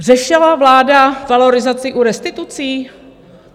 Řešila vláda valorizaci u restitucí?